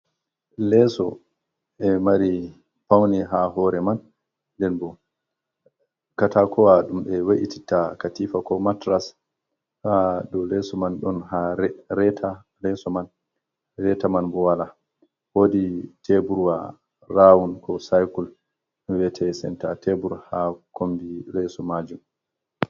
Leso e mari paune ha hore man, nɗen bo katakowa ɗum e we’ititta katifa ko matras, ha dou leso man don ha reta leso man reta man bo wala, wodi teburwa rawun ko saikul vi'ete senta tebur ha kombi leso majum.